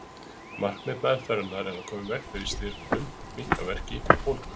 Markmið meðferðarinnar er að koma í veg fyrir stirðnun, minnka verki og bólgu.